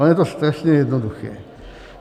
Ono je to strašně jednoduché.